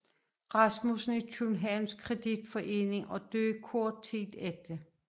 Rasmussen i Københavns Kreditforening og døde kort tid efter